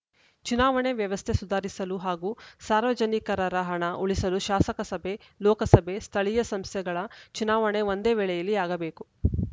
ಚುನಾವಣೆ ವ್ಯವಸ್ಥೆ ಸುಧಾರಿಸಲು ಹಾಗೂ ಸಾರ್ವಜನಿಕರರ ಹಣ ಉಳಿಸಲು ಶಾಸನಸಭೆ ಲೋಕಸಭೆ ಸ್ಥಳೀಯ ಸಂಸ್ಥೆಗಳ ಚುನಾವಣೆ ಒಂದೇ ವೇಳೆಯಲ್ಲಿ ಆಗಬೇಕು